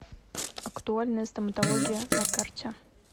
актуальная стоматология на карте